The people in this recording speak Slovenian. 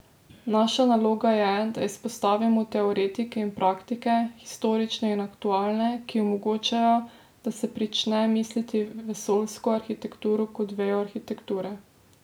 Naša naloga je, da izpostavimo teoretike in praktike, historične in aktualne, ki omogočajo, da se prične misliti vesoljsko arhitekturo kot vejo arhitekture.